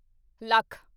lakh